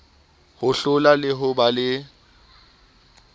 hohlola le ho ba le